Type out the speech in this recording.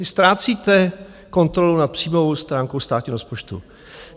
Vy ztrácíte kontrolu nad příjmovou stránkou státního rozpočtu.